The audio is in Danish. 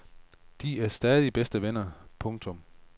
De er stadig bedste venner. punktum